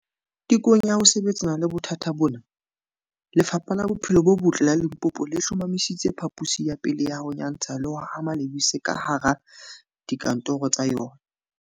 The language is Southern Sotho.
Tekong ya ho sebetsana le bothata bona, Lefapha la Bophelo bo Botle la Limpopo le hlomamisitse phaposi ya pele ya ho nyantsha le ho hama lebese kahara dika ntoro tsa yona.